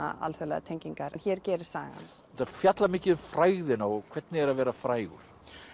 alþjóðlegar tengingar en hér gerist sagan þetta fjallar mikið um frægðina og hvernig er að vera frægur